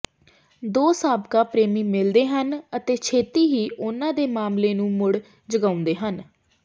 ਦੋ ਸਾਬਕਾ ਪ੍ਰੇਮੀ ਮਿਲਦੇ ਹਨ ਅਤੇ ਛੇਤੀ ਹੀ ਉਨ੍ਹਾਂ ਦੇ ਮਾਮਲੇ ਨੂੰ ਮੁੜ ਜਗਾਉਂਦੇ ਹਨ